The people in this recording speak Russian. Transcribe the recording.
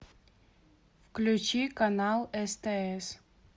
включи канал стс